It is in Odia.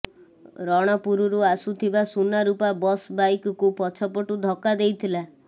ରଣପୁରରୁ ଆସୁଥିବା ସୁନାରୂପା ବସ୍ ବାଇକକୁ ପଛ ପଟୁ ଧକା ଦେଇଥିଲା